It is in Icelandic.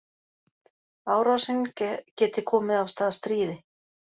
Árásin geti komið af stað stríði